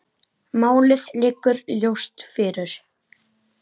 Málið liggur ljóst fyrir.